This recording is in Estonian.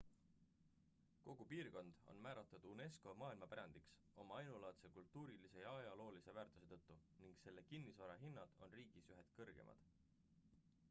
kogu piirkond on määratud unesco maailmapärandiks oma ainulaadse kultuurilise ja ajaloolise väärtuse tõttu ning selle kinnisvara hinnad on riigis ühed kõrgemad